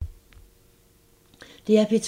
DR P2